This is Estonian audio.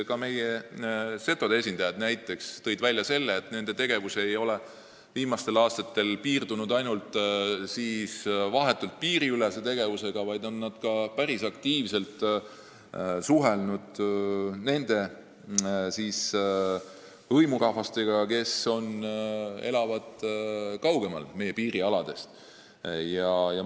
Ka meie setode esindajad tõid välja selle, et nad ei ole viimastel aastatel piirdunud vahetult piiriülese tegevusega, vaid nad on päris aktiivselt suhelnud ka nende hõimurahvastega, kes elavad meie piirialadest kaugemal.